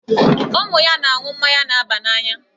Ụmụ ya na-aṅụ mmanya na-aba n'anya.